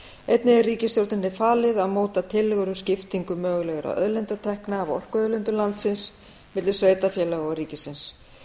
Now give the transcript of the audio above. einnig er ríkisstjórninni falið að móta tillögur um skiptingu mögulegra auðlindatekna af orkuauðlindum landsins milli sveitarfélaga og ríkisins